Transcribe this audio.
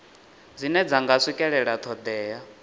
dzine dza nga swikelela thodea